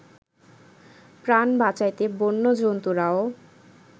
প্রাণ বাঁচাইতে বন্য জন্তুরাও